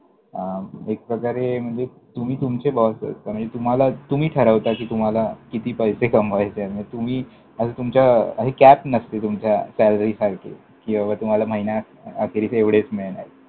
अं एक प्रकारे म्हणजे तुम्ही तुमचे boss असता, म्हणजे तुम्हाला तुम्ही ठरवता कि तुम्हाला किती पैसे कमवायचेय, तुम्ही, तुमच्या cap नसते तुमच्या SALLERY सारखी कि बाबा तुम्हाला महिनाअखेर हे एवढेच मिळणारेत.